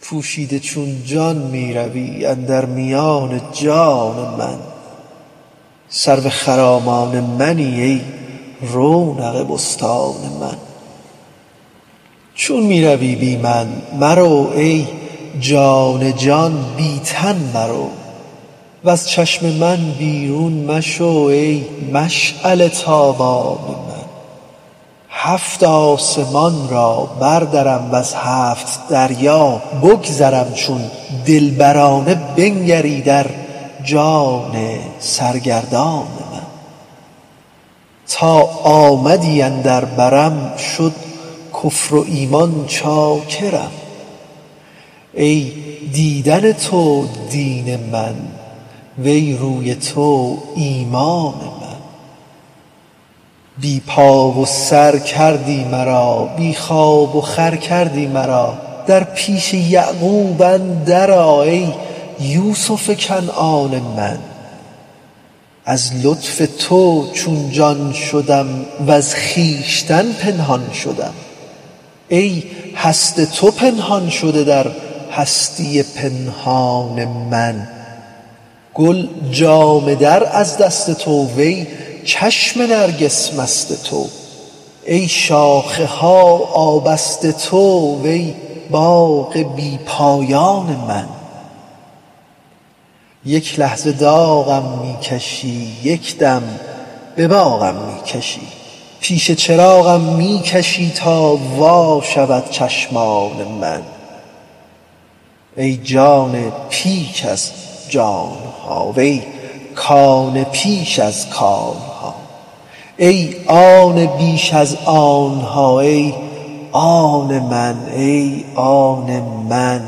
پوشیده چون جان می روی اندر میان جان من سرو خرامان منی ای رونق بستان من چون می روی بی من مرو ای جان جان بی تن مرو وز چشم من بیرون مشو ای مشعله ی تابان من هفت آسمان را بردرم وز هفت دریا بگذرم چون دلبرانه بنگری در جان سرگردان من تا آمدی اندر برم شد کفر و ایمان چاکرم ای دیدن تو دین من وی روی تو ایمان من بی پا و سر کردی مرا بی خواب و خور کردی مرا در پیش یعقوب اندر آ ای یوسف کنعان من از لطف تو چون جان شدم وز خویش تن پنهان شدم ای هست تو پنهان شده در هستی پنهان من گل جامه در از دست تو وی چشم نرگس مست تو ای شاخه ها آبست تو وی باغ بی پایان من یک لحظه داغم می کشی یک دم به باغم می کشی پیش چراغم می کشی تا وا شود چشمان من ای جان پیش از جان ها وی کان پیش از کان ها ای آن بیش از آن ها ای آن من ای آن من